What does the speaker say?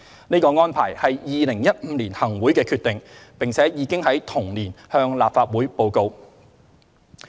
這個安排是2015年行會的決定，並已經在同年向立法會報告。